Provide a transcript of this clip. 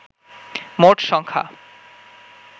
মোট সংখ্যা